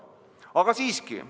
Aga siiski.